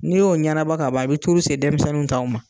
N'i y'o ɲanabɔ ka ban i bɛ se denmisɛnninw taw ma